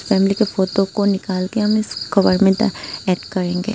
Family का photo को निकाल कर हम इस कवर मे डा एड करेंगे।